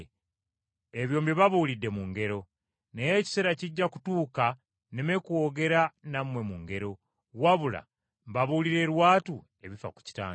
Ebyo mbibabuulidde mu ngero. Naye ekiseera kijja kutuuka nneme kwogera nammwe mu ngero, wabula mbabuulire lwatu ebifa ku Kitange.